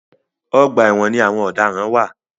Ọgbà ẹ̀wọ̀n ni àwọn ọ̀daràn wà.